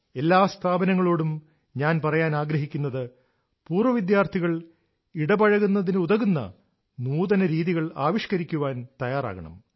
എല്ലാ സ്ഥാപനങ്ങളോടും ഞാൻ പറയാൻ ആഗ്രഹിക്കുന്നത് പൂർവവിദ്യാർഥികൾ ഇടപഴകുന്നതിനുതകുന്ന നൂതന രീതികൾ ആവിഷ്കരിക്കാൻ തയ്യാറാവണം